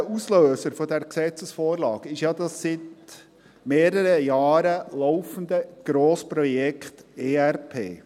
Unmittelbarer Auslöser dieser Gesetzesvorlage ist ja das seit mehreren Jahren laufende Grossprojekt ERP.